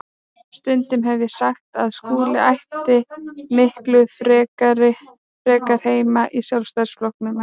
Stundum hef ég sagt að Skúli ætti miklu frekar heima í Sjálfstæðisflokknum en